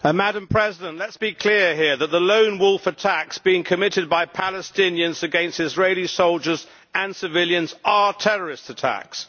Madam President, let us be clear here that the lone wolf attacks being committed by Palestinians against Israeli soldiers and civilians are terrorist attacks.